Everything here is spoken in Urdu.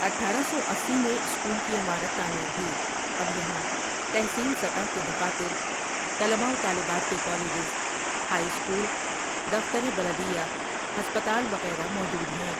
اٹھآرہ سو اسی میں سکول کی عمارت تعمیر ہوئی اب یہاں تحصیل سطح کے دفاتر، طلبا و طالبات کے کالجز، ہائی سکول، دفتر بلدیہ، ہسپتال وغیرہ موجود ہیں ۔